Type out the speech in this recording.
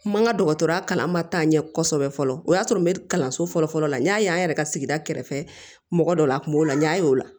N ma n ka dɔgɔtɔrɔya kalan ma taa ɲɛ kosɛbɛ fɔlɔ o y'a sɔrɔ n bɛ kalanso fɔlɔ fɔlɔ la n y'a ye an yɛrɛ ka sigida kɛrɛfɛ mɔgɔ dɔ la a kun b'o la n y'a ye o la